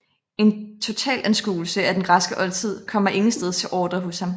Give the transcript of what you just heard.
En totalanskuelse af den græske oldtid kommer ingensteds til orde hos ham